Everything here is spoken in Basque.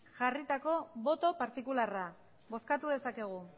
jarritako boto partikularra bozkatu dezakegu